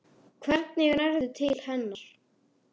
Hvernig nærðu til hennar?